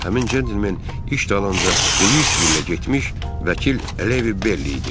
Həmin cəntlimen iş dalınca Luisvillə getmiş vəkil Əliyevi Berley idi.